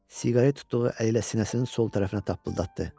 Siqaret tutduğu əlilə sinəsinin sol tərəfinə tapıldıtdı.